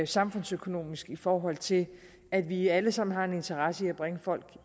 samfundsøkonomisk i forhold til at vi alle sammen har en interesse i at bringe folk